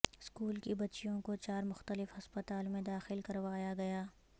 school کی بچیوں کو چار مختلف ہسپتال میں داخل کروایا گیا